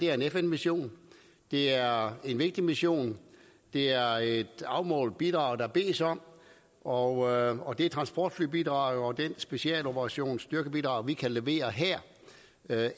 er en fn mission det er en vigtig mission det er et afmålt bidrag der bedes om og det transportflybidrag og den specialoperation styrkebidrag vi kan levere her